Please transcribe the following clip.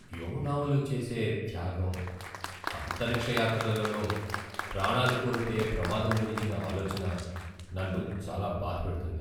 వ్యోమగాములు చేసే త్యాగం, అంతరిక్ష యాత్రలలో ప్రాణాలు కోల్పోయే ప్రమాదం గురించిన ఆలోచన నన్ను చాలా బాధపెడుతుంది.